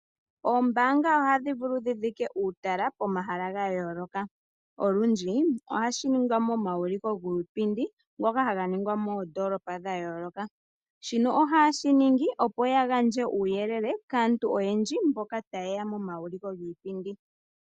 Oombaanga ohadhi vulu dhi dhike uutala pomahala ga yooloka. Olundji, ohashi ningwa momauliko giipindi, ngoka haga ningwa moondoolopa dha yooloka. Shino ohaye shi ningi, opo ya gandje uuyelele kaantu oyendji mboka taye ya momauliko giipindi.